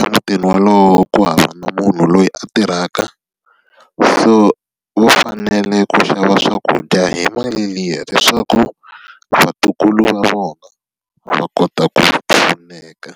emutini wolowo ku hava na munhu loyi a tirhaka, so va fanele ku xava swakudya hi mali liya leswaku vatukulu va vona va kota ku pfuneka.